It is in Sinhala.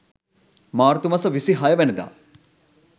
මාර්තු මස 26 වැනිදා